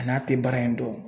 A n'a te baara in dɔn